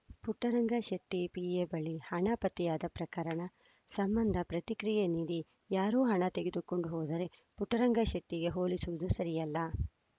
Puttaranga Shetty PA ಬಳಿ ಹಣ ಪತ್ತೆಯಾದ ಪ್ರಕರಣ ಸಂಬಂಧ ಪ್ರತಿಕ್ರಿಯೆ ನೀಡಿ ಯಾರೋ ಹಣ ತೆಗೆದುಕೊಂಡು ಹೋದರೆ ಪುಟ್ಟರಂಗ ಶೆಟ್ಟಿಗೆ ಹೋಲಿಸುವುದು ಸರಿಯಲ್ಲ